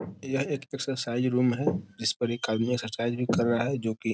यह एक exercise room है जिस पर एक आदमी एक्सरसाइज भी कर रहा है जो की --